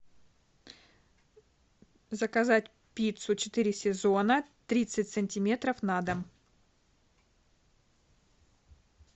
заказать пиццу четыре сезона тридцать сантиметров на дом